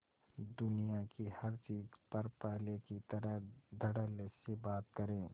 दुनिया की हर चीज पर पहले की तरह धडल्ले से बात करे